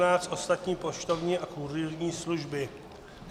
N517 - ostatní poštovní a kurýrní služby.